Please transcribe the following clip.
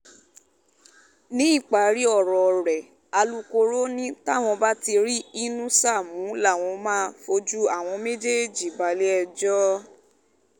ní ìparí ọ̀rọ̀ rẹ̀ alūkkoro ni táwọn bá ti rí inúṣà mú làwọn máa fojú àwọn méjèèjì balẹ̀-ẹjọ́